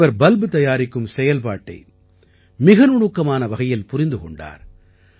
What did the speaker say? இவர் பல்ப் தயாரிக்கும் செயல்பாட்டை மிக நுணுக்கமான வகையில் புரிந்து கொண்டார்